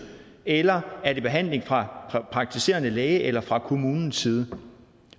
eller er det behandling fra praktiserende læge eller fra kommunens side